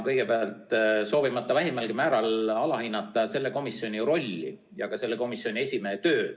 Kõigepealt, ma ei soovi vähimalgi määral alahinnata selle komisjoni rolli ja ka selle komisjoni esimehe tööd.